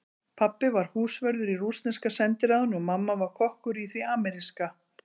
Pabbi var húsvörður í rússneska sendiráðinu og mamma var kokkur í því ameríska.